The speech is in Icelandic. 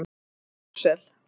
Brussel